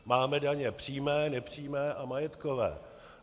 Máme daně přímé, nepřímé a majetkové.